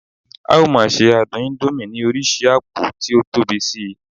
a o ma se adun indomie ni oríṣi apo ti o Tobi Si